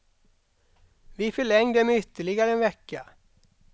Vi förlängde med ytterligare en vecka.